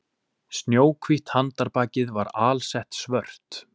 Snjóhvítt handarbakið var alsett svört